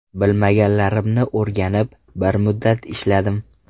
Bilmaganlarimni o‘rganib, bir muddat ishladim.